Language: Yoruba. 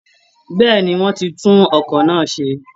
Bẹ́ẹ̀ ni, wọ́n ti tún ọkọ̀ náà ṣe